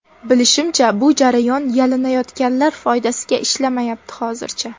Bilishimcha, bu jarayon yalinayotganlar foydasiga ishlamayapti hozircha.